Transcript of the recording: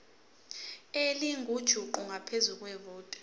elingujuqu ngaphezu kwevoti